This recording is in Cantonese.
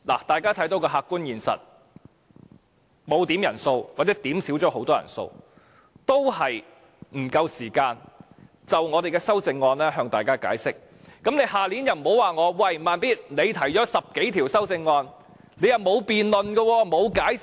大家看到的客觀現實是，即使我們沒有點算人數或甚少點算人數，仍未有足夠時間向大家解釋我們的修正案，你們明年就不要說："'慢咇'，你提出了10多項修正案，但又沒有作辯論和解釋。